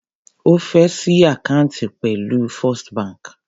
Ó fé ṣí àkáǹtì pẹ̀lú First bank.